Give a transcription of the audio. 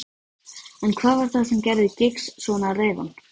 En hvað var það sem gerði Giggs svona reiðan?